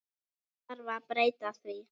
Þarf að breyta því?